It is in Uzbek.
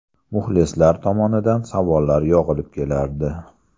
Muxlislar tomonidan savollar yog‘ilib kelardi.